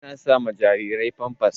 Ana sa ma jarirai famfas.